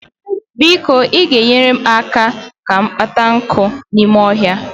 biko ị ga-enyere m aka kpata nkụ n'ime ọhịa?